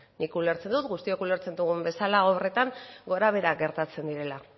nik ulertzen dut guztiok ulertzen dugun bezala obretan gorabeherak gertatzen direla